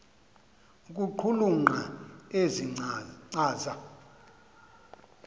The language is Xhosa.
ukuqulunqa ezi nkcaza